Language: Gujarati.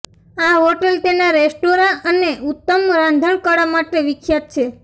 આ હોટેલ તેના રેસ્ટોરાં અને ઉત્તમ રાંધણકળા માટે વિખ્યાત છે